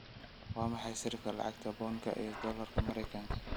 waa maxay sarifka lacagta Pound-ka iyo Doolarka Maraykanka